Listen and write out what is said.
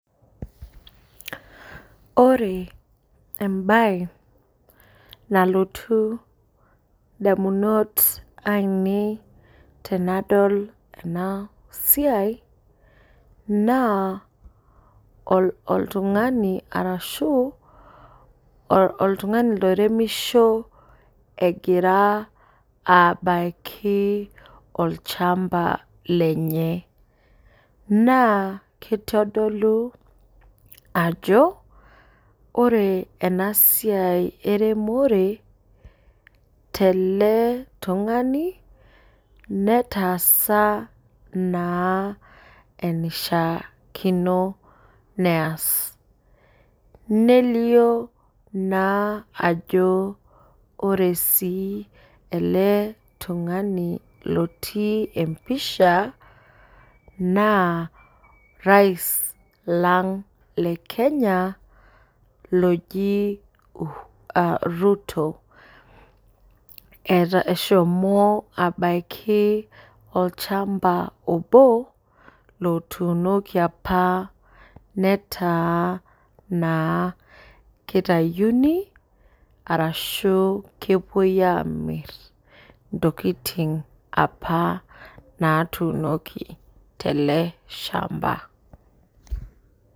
Ore embae nalotu ndamunot aineei tanadol enasia na oltungani arashu oltungani oremisho egira abaki olchamba lenye na kitodolu ajo ore enasiai eremore teletungani netaasa enishaakino neas nelio naa ajo ore si eletungani lotiibempisha na orais Leng le Kenya oji ruto eshomo abaki olchamba Obo otuunoki apa netaa litauni ashi kepuoi amir ntokitin apa natuunoki teleshamba